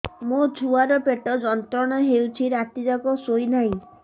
ମୋ ଛୁଆର ପେଟ ଯନ୍ତ୍ରଣା ହେଉଛି ରାତି ଯାକ ଶୋଇନାହିଁ